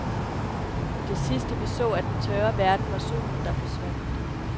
Det sidste vi så af den tørre verden var solen, der forsvandt.